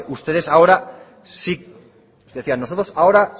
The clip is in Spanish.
ustedes ahora sí decía nosotros ahora